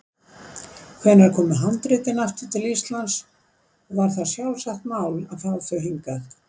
Hvenær komu handritin aftur til Íslands og var það sjálfsagt mál að fá þau hingað?